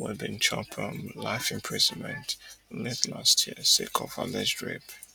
wey bin chop um life imprisonment late last year sake of alleged rape